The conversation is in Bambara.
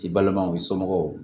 I balimaw i somɔgɔw